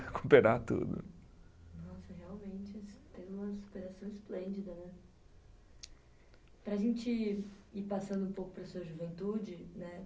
Recuperar tudo. Nossa, realmente, tem uma superação esplêndida, né? Para a gente ir passando um pouco para a sua juventude, né?